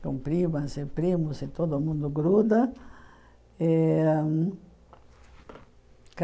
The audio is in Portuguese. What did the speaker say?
com primas e primos e todo mundo gruda. E